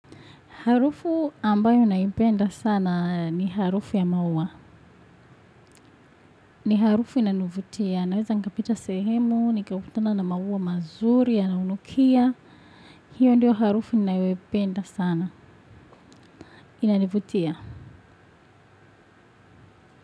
Harufu ambayo naipenda sana ni harufu ya maua. Ni harufu inanivutia. Naweza nikapita sehemu, nikakutana na maua mazuri, yanayonukia. Hiyo ndio harufu ninayoipenda sana. Inanivutia.